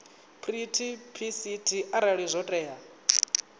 treaty pct arali zwo tea